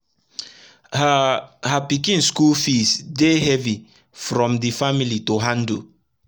her her pikin school fees dey hevi from d family to handle